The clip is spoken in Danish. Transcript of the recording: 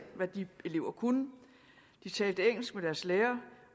hvad de elever kunne de talte engelsk med deres lærere